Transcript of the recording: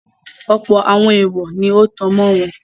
Ọ̀pọ̀ àwọn èwọ̀ọ̀ ni ó tan mọ́ wọn.